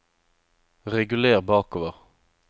reguler bakover